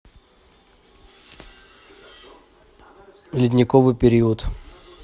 ледниковый период